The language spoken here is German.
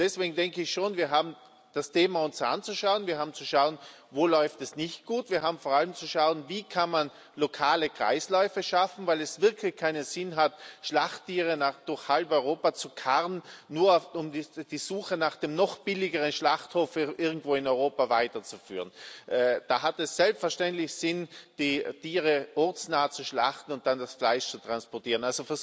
Deswegen denke ich schon, wir haben uns das Thema anzuschauen, wir haben zu schauen, wo es nicht gut läuft. Wir haben vor allem zu schauen, wie man lokale Kreisläufe schaffen kann, weil es wirklich keinen Sinn hat, Schlachttiere durch halb Europa zu karren, nur um die Suche nach dem noch billigeren Schlachthof irgendwo in Europa weiterzuführen. Da hat es selbstverständlich Sinn, die Tiere ortsnah zu schlachten und dann das Fleisch zu transportieren.